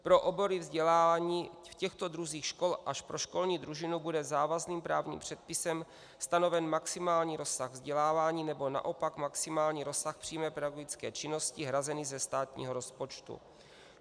Pro obory vzdělávání v těchto druzích škol až po školní družinu bude závazným právním předpisem stanoven maximální rozsah vzdělávání, nebo naopak maximální rozsah přímé pedagogické činnosti hrazený ze státního rozpočtu.